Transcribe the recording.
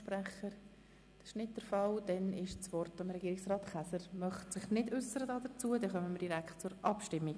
Da niemand mehr das Wort wünscht, kommen wir zur Abstimmung.